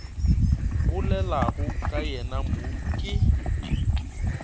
bolelago ka yena mo ke